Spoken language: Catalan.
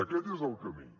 aquest és el camí